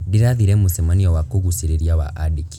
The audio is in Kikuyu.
Ndĩrathire mũcemanio wa kũgucĩrĩria wa andĩki.